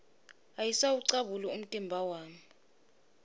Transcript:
ayisawucabuli umtimba wami